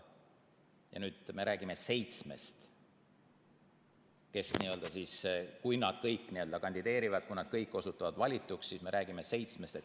Ja nüüd me räägime seitsmest – kui nad kõik kandideerivad ja kui nad kõik osutuvad valituks, siis me räägime seitsmest inimesest.